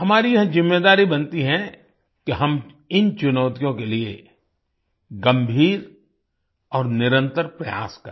हमारी यह जिम्मेदारी बनती है कि हम इन चुनौतियों के लिए गंभीर और निरंतर प्रयास करें